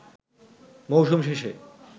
মৌসুম শেষে